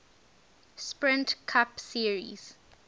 sprint cup series